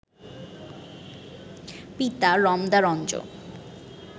পিতা রমদারঞ্জন